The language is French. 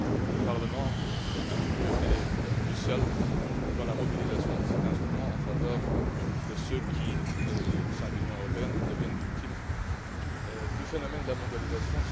Le Parlement a toujours joué un rôle crucial dans la mobilisation de cet instrument en faveur de ceux qui, au sein de l'Union européenne, sont victimes du phénomène de la mondialisation.